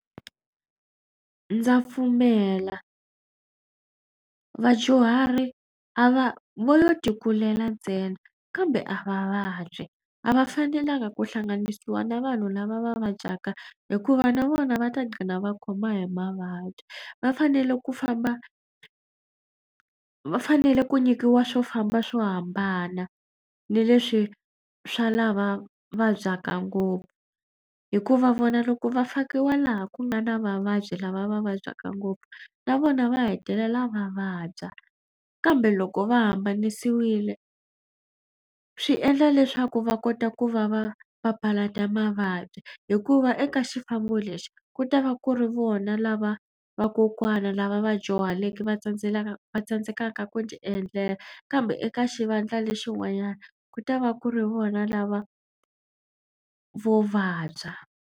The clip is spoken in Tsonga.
Ndza pfumela vadyuhari a va vo lo tikukulela ntsena kambe a va vabyi. A va fanelanga ku hlanganisiwa na vanhu lava va vabyaka hikuva na vona va ta gcina va khoma hi mavabyi. Va fanele ku famba va fanele ku nyikiwa swo famba swo hambana ni leswi swa lava vabyaka ngopfu hikuva vona loko va fakiwa laha ku nga na vavabyi lava va vabyaka ngopfu na vona va hetelela va vabya kambe loko va hambanisiwile swi endla leswaku va kota ku va va papalata mavabyi hikuva eka xifambo lexi ku ta va ku ri vona lava vakokwana lava vadyuhaleke va va tsandzekaka ku ti endlela kambe eka xivandla lexin'wanyana ku ta va ku ri vona lava vo vabya.